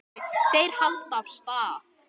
Þeir halda af stað.